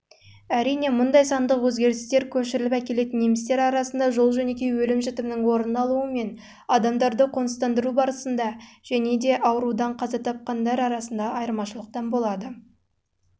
әрине мұндай сандық өзгерістер көшіріліп әкелетін немістер арасында жол-жөнекей өлім-жітімнің орын алуы мен адамдарды қоныстандыру барысында және аурудан